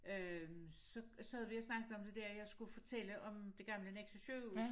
Øh så sad vi og snakkede om det der jeg skulle fortælle om det gamle Nexø sygehus